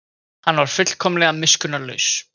Hann var fullkomlega miskunnarlaus.